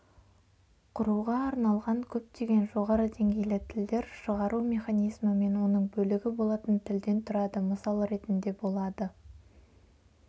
құруға арналған көптеген жоғары деңгейлі тілдер шығару механизмі мен оның бөлігі болатын тілден тұрады мысал ретінде болады